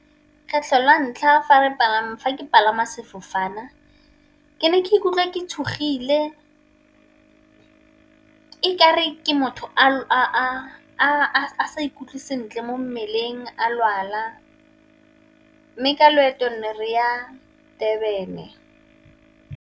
Kgetlho la ntlha fa ke palama sefofane ke ne ke ikutlwa ke tshogile, e kare ke motho a sa ikutlwe sentle mo mmeleng a lwala mme ka loeto ne re ya Durban.